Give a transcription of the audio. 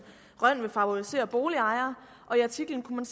rønn vil favorisere boligejere og i artiklen kunne